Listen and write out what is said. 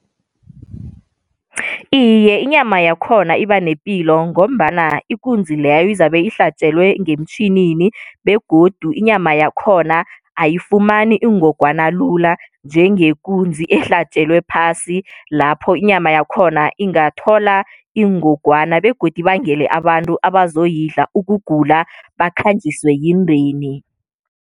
Iye, inyama yakhona iba nepilo, ngombana ikunzi leyo izabe ihlatjelwe ngemtjhinini. Begodu inyama yakhona ayifumani ingogwana lula njengekunzi ehlatjelwe phasi, lapho inyama yakhona ingathola iingogwana begodu ibangele abantu abazoyidla ukugula bakhanjiswe yindeni.